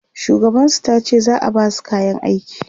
shugaban su tace za'a Basu kayan aiki